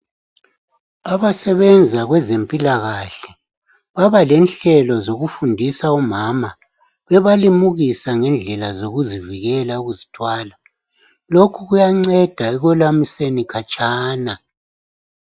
abasebenza kwezempilakahle babalenhlelo zokufundisa omama bebalimukisa ngendlela zokuzivikela ukuzithwala lokhu kuyanceda ekwelamiseni khatshana